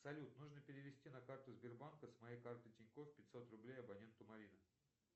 салют нужно перевести на карту сбербанка с моей карты тинькоф пятьсот рублей абоненту марина